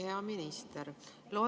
Hea minister!